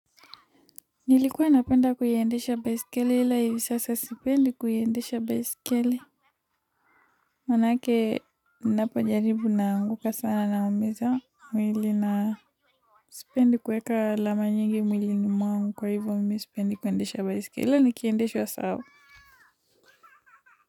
Nilikuwa napenda kuiendesha baisikeli ila hivi sasa sipendi kuiendesha baisikeli. Maanake ninapo jaribu naanguka sana naumiza mwili na sipendi kueka alama nyingi mwilini mwangu kwa hivyo mimi sipendi kuiendesha baisikeli ila nikiendeshwa sawa.